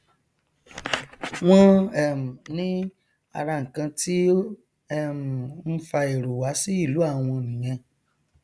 wọn um ní ara nkan tí ó um nfa èrò wá sí ìlú àwọn nìyẹn